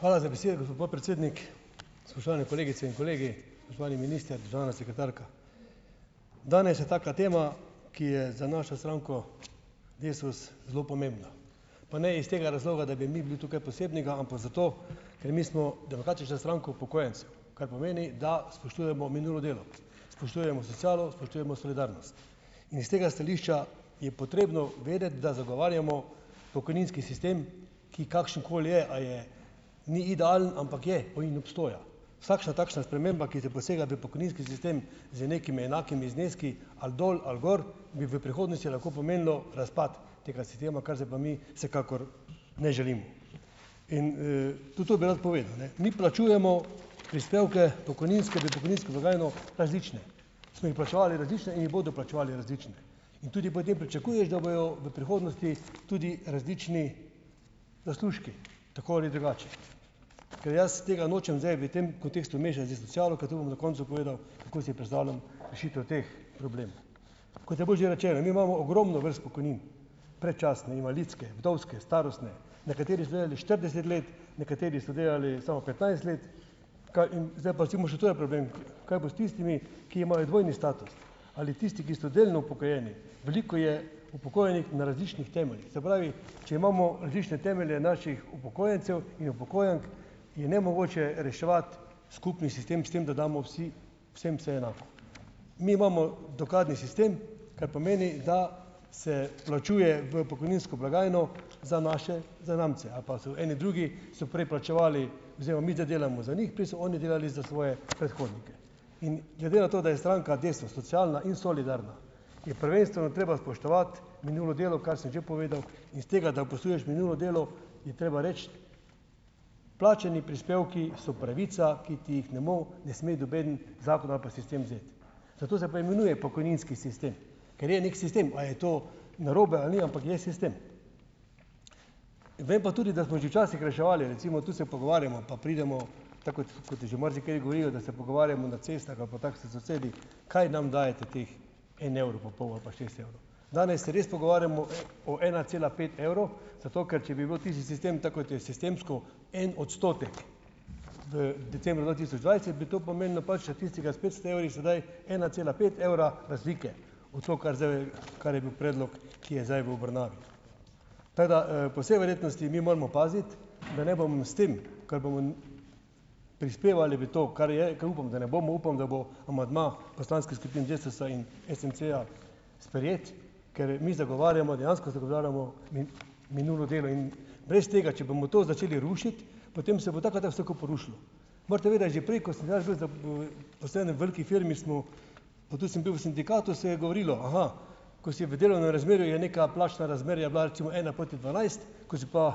Hvala za besedo, gospod podpredsednik. Spoštovane kolegice in kolegi, spoštovani minister, državna sekretarka. Danes je taka tema, ki je za našo stranko Desus zelo pomembna. Pa ne iz tega razloga, da bi mi bili tu kaj posebnega, ampak zato, ker mi smo Demokratična stranka upokojencev, kar pomeni, da spoštujemo minulo delo. Spoštujemo socialo, spoštujemo solidarnost. In s tega stališča je potrebno vedeti, da zagovarjamo pokojninski sistem, ki kakšen koli je, a je, ni idealen, ampak je in obstoja. Vsakšna takšna sprememba, ki ti posega v pokojninski sistem z nekimi enakimi zneski ali dol ali gor, bi v prihodnosti lahko pomenila razpad tega sistema, kar zdaj pa mi vsekakor ne želimo. In, tudi to bi rad povedal, Mi plačujemo prispevke v pokojninsko blagajno različne. Smo jih plačevali različne in jih bodo plačevali različne. In tudi potem pričakuješ, da bojo v prihodnosti tudi različni zaslužki, tako ali drugače. Ker jaz tega nočem zdaj v tem kontekstu mešati s socialo, ker to bom na koncu povedal, kako si predstavljam rešitev teh problemov. Kot je bilo že rečeno, mi imamo ogromno vrst pokojnin. Predčasne, invalidske, vdovske, starostne, nekateri so delali štirideset let, nekateri so delali samo petnajst let, kaj in zdaj pa recimo še to je problem, kaj bo s tistimi, ki imajo dvojni status. Ali tisti, ki so delno upokojeni, veliko je upokojenih na različnih temeljih, se pravi, če imamo različne temelje naših upokojencev in upokojenk, je nemogoče reševati skupni sistem s tem, da damo vsi vsem vse enako. Mi imamo "dokladni" sistem, kar pomeni, da se plačuje v pokojninsko blagajno za naše zanamce. Ali pa so eni drugi so prej plačevali, zdaj pa mi ta delamo za njih, prej so oni delali za svoje predhodnike. In glede na to, da je stranka Desus socialna in solidarna, je prvenstveno treba spoštovati minulo delo, kar sem že povedal, in s tega, da spoštuješ minulo delo, je treba reči, plačani prispevki so pravica, ki ti jih ne ne sme noben zakon ali pa sistem vzeti. Zato se pa imenuje pokojninski sistem. Ker je neki sistem, a je to narobe ali ni, ampak je sistem. Vem pa tudi, da smo že včasih reševali, recimo tu se pogovarjamo pa pridemo, tako kot kot je že marsikateri govorijo, da se pogovarjamo na cestah ali pa tako s sosedi, kaj nam dajete teh en evro pa pol ali pa šest evrov. Danes se res pogovarjamo o ena cela pet evrov, zato ker če bi bil tisti sistem tak, kot je, sistemsko en odstotek v decembru dva tisoč dvajset bi to pomenilo pač, da tisti ki s petsto evri sedaj ena cela pet evra razlike. V to, kar zdaj, kar je bil predlog, ki je zdaj v obravnavi. Tako da, po vsej verjetnosti mi moramo paziti, da ne bomo s tem, ke bomo prispevali v to, kar je, ke upam, da ne bomo, upam, da bo amandma poslanskih skupin Desusa in SMC-ja sprejet, ker mi zagovarjamo, dejansko zagovarjamo minulo delo in brez tega, če bomo to začeli rušiti, potem se bo tako ali tako vse skupaj porušilo. Morate vedeti, že prej, ko sem jaz bil v veliki firmi, smo, pa tudi sem bil v sindikatu, se je govorilo: "Aha, ko si v delovnem razmerju, je neka plačna razmerja bila recimo ena proti dvanajst, ko si pa,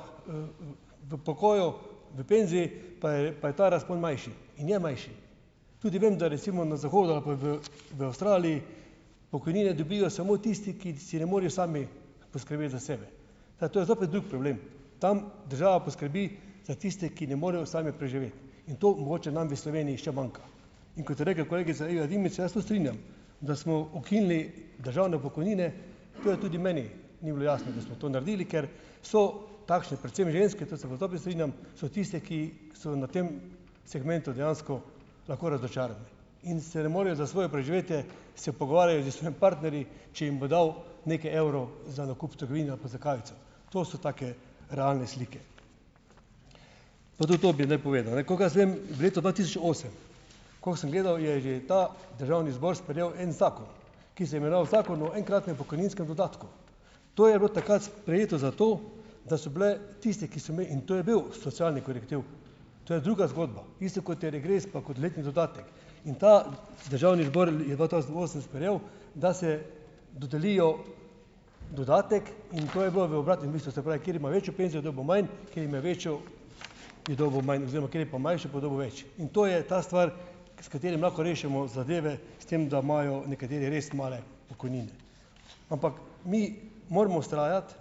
v pokoju, v penziji, pa je, pa je ta razpon manjši." In je manjši. Tudi vem, da recimo na zahodu ali pa v v Avstraliji pokojnine dobijo samo tisti, ki si ne morejo sami poskrbeti za sebe. Zdaj to je zopet drug problem. Tam država poskrbi za tiste, ki ne morejo sami preživeti. In to mogoče nam v Sloveniji še manjka. In kot je rekla kolegica Iva Dimic, se jaz tudi strinjam. Da smo ukinili državne pokojnine, to je tudi meni ni bilo jasno, da smo to naredili, ker so takšne predvsem ženske, to se pa zopet strinjam, so tiste, ki so na tem segmentu dejansko lahko razočarane in se ne morejo za svoje preživetje se pogovarjati s svojim partnerji, če jim bo dal nekaj evrov za nakup v trgovini ali pa za kavico. To so take realne slike. Pa tudi to bi zdaj povedal, kolikor jaz vem, leto dva tisoč osem, ko sem gledal, je že ta državni zbor sprejel en zakon, ki se je imenoval Zakon o enkratnem pokojninskem dodatku. To je bilo takrat sprejeto zato, da so bile tiste, ki so - in to je bil socialni korektiv, to je druga zgodba. Isto, kot je regres pa kot letni dodatek. In ta državni zbor je dva tavžent osem sprejel, da se dodelijo dodatek in to je bilo v obratnem smislu, se pravi, kateri ima večjo penzijo, je dobil manj, kateri imel večjo ... je dobil manj, oziroma kateri pa manjšo, pa je dobil več. In to je ta stvar, s katerim lahko rešimo zadeve, s tem da imajo nekateri res male pokojnine. Ampak mi moramo vztrajati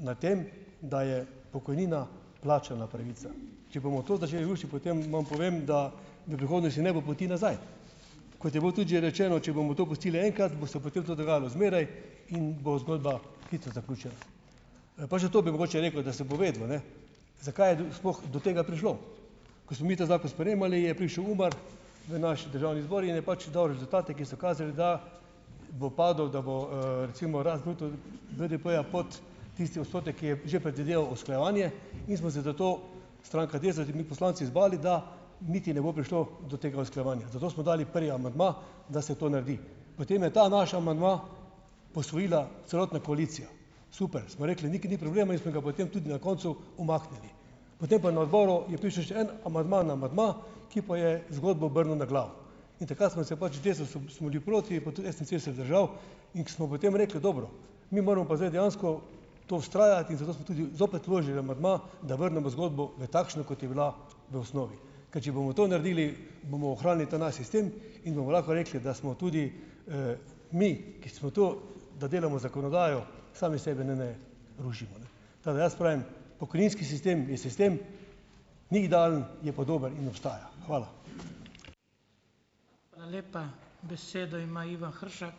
na tem, da je pokojnina plačana pravica. Če bomo to začeli rušiti, potem vam povem, da v prihodnosti ne bo poti nazaj. Kot je bilo tudi že rečeno, če bomo to pustili enkrat, bo se potem to dogajalo zmeraj in bo zgodba hitro zaključena. pa še to bi mogoče rekel, da se bo vedelo, zakaj je sploh do tega prišlo. Ko smo mi ta zakon sprejemali, je prišel UMAR v naš državni zbor in je pač dal rezultate, ki so kazali, da bo padel, da bo, recimo rast bruto, BDP-ja pod tisti odstotek, ki je že predvideval usklajevanje, in smo se zato, stranka Desus in mi poslanci, zbali, da niti ne bo prišlo do tega usklajevanja. Zato smo dali prvi amandma, da se to naredi. Potem je ta naš amandma posvojila celotna koalicija. Super. Smo rekli, niti ni problema in smo ga potem tudi na koncu umaknili. Potem pa na odboru je prišel še en amandma na amandma, ki pa je zgodbo obrnil na glavo in takrat smo se pač, v Desusu smo bili proti, pa tudi SMC se je vzdržal in smo potem rekli: "Dobro, mi moramo pa zdaj dejansko to vztrajati." In zato smo tudi, zopet vložili amandma, da vrnemo zgodbo v takšno, kot je bila v osnovi. Ker če bomo to naredili, bomo ohranili ta naš sistem in bomo lahko rekli, da smo tudi, mi, ki smo tu, da delamo zakonodajo, sami sebe ne ne rušimo, ne. Tako da, jaz pravim, pokojninski sistem je sistem, ni idealen, je pa dober in obstaja. Hvala.